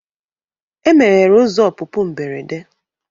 E meghere ụzọ ọpụpụ mberede.